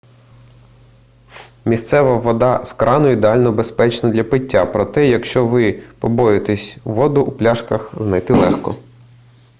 місцева вода з крану ідеально безпечна для пиття проте якщо ви побоюєтеся воду у пляшках знайти легко